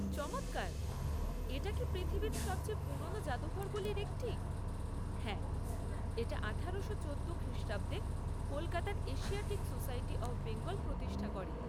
চমৎকার! এটা কি পৃথিবীর সবচেয়ে পুরোনো জাদুঘরগুলির একটি?